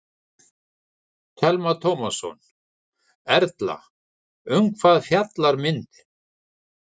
Telma Tómasson: Erla, um hvað fjallar myndin?